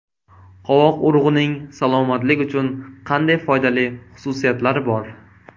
Qovoq urug‘ining salomatlik uchun qanday foydali xususiyatlari bor?.